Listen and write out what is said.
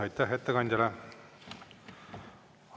Aitäh ettekandjale!